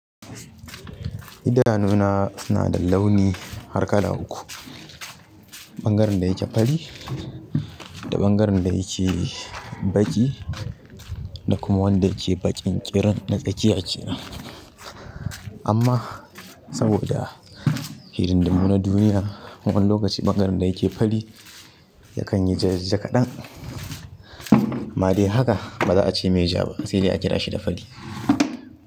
Idanuna suna da launi, harkala uku. Bangaren da yake fari da ɓangaren da yake baƙi da kuma wanda yake baƙinƙirin na tsakiya kenan amma saboda hidindimu na duniya wani lokaci maganan dayake faɗi yakan yi jajja kaɗan amma dai haka ba za a ceme ja ba sai dai a kira shi da fari.